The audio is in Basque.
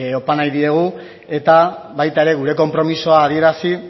opa nahi diegu eta baita ere gure konpromisoa adierazi